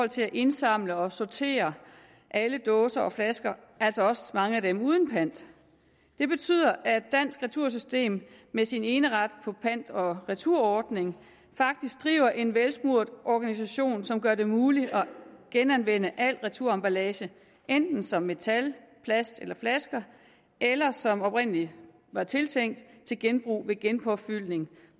til at indsamle og sortere alle dåser og flasker altså også mange af dem uden pant det betyder at dansk retursystem med sin eneret på pant og returordningen faktisk driver en velsmurt organisation som gør det muligt at genanvende al returemballage enten som metal plast eller flasker eller som det oprindelig var tiltænkt nemlig til genbrug ved genpåfyldning